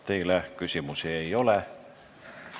Teile küsimusi ei ole.